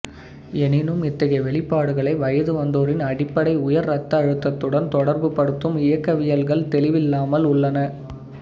எனினும் இத்தகைய வெளிப்பாடுகளை வயது வந்தோரின் அடிப்படை உயர் இரத்த அழுத்தத்துடன் தொடர்பு படுத்தும் இயக்கவியல்கள் தெளிவில்லாமல் உள்ளன